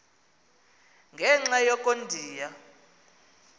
ngenxa yoko ndiya